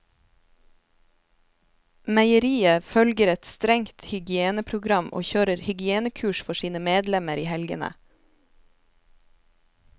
Meieriet følger et strengt hygieneprogram og kjører hygienekurs for sine medlemmer i helgene.